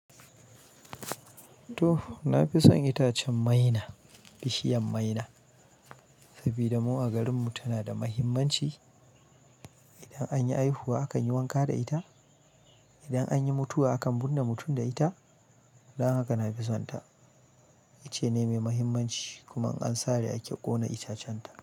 To! Na fi son itacen maina, bishiyar maina. Saboda mu a garin tana da mahimmanci, idan yi haihuwa akan yi wanka da ita, idan anyi mutuwa akan birne mutum da ita. Dan haka na fi son ta. Ita ce mai muhimmanci. Kuma in an sare ake ƙona itacen ta.